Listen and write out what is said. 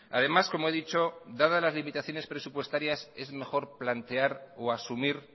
además como he dicho dada las limitaciones presupuestarias es mejor plantear o asumir